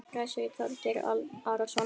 Prestur Þorgeir Arason.